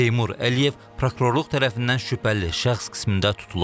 Teymur Əliyev prokurorluq tərəfindən şübhəli şəxs qismində tutulub.